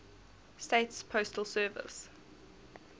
states postal service